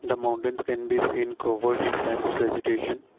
the mountains can be seen covered in dense vegetation.